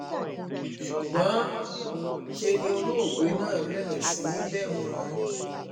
ṣùgbọ́n ṣe ni olóògbé náà bẹ̀rẹ̀ sí í bẹ̀ wọ́n